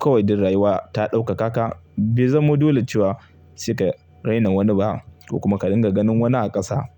Kawai dan rayuwa ta ɗaukaka ka bai zamo dole cewa saika raina wani ba ko kuma ka dinga ganin wani a ƙasa.